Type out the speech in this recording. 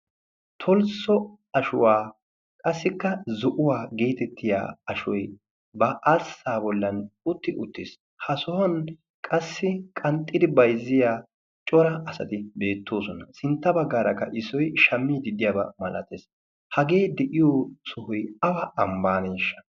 tolsso ashuwa qassikka ashuwa ba arsaa boli hiizxxidi bayziidi beetees. hagee de'iyo sohoy awa sohuwaaneeshshaa?